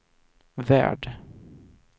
värld